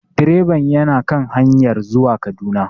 Direban yana kan hanyar zuwa Kaduna